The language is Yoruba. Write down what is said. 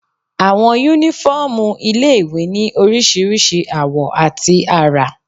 Àwọn yúnífọ́ọ̀mù ilé-ìwé ní oríṣiríṣi àwọ̀ àti àrà